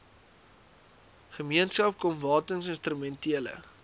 gemeenskap kom watinstrumentele